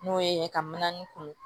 N'o ye ka mana ni kuru